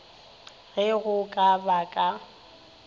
ge go ka ba ka